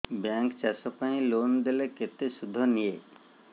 bank ଚାଷ ପାଇଁ loan ଦେଲେ କେତେ ସୁଧ ନିଏ